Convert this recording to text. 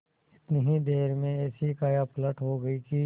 इतनी ही देर में ऐसी कायापलट हो गयी कि